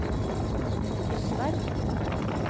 Tysvær